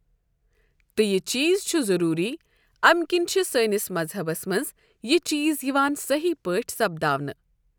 تہٕ یہِ چیٖز چھُ ضروٗری اَمہِ کِنۍ چھ سٲنِس مَذہبس منٛز یہِ چیٖز یِوان صحیح پٲٹھۍ سَپداونہٕ۔